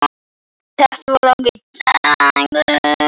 Þetta var langur dagur.